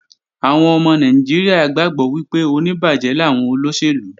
Àwọn ọmọ Nàìjíríà gbàgbọ́ wípé oníbàjẹ́ làwọn olóṣèlú